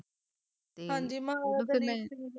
ਹਾਂਜੀ ਮਹਾਰਾਜਾ